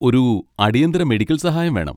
ഒരു അടിയന്തിര മെഡിക്കൽ സഹായം വേണം.